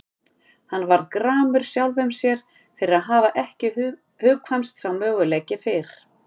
Hann varð gramur sjálfum sér fyrir að hafa ekki hugkvæmst sá möguleiki fyrr.